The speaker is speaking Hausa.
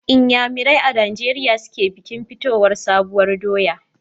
Inyanamerai a Nijeriya su ke bikin fitowar sabuwar doya.